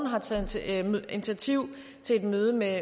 har taget initiativ til et møde med